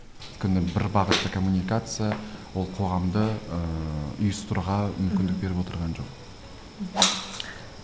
өйткені бір бағытты коммуникация ол қоғамды ыыы мүмкіндік беріп отырған жоқ мхм